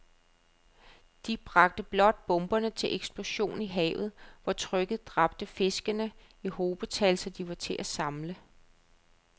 De bragte blot bomberne til eksplosion i havet, hvor trykket dræbte fiskene i hobetal, så de var til at samle